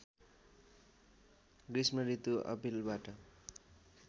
गृष्म ऋतु अप्रिलबाट